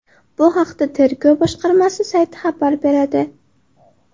Bu haqda tergov boshqarmasi sayti xabar beradi.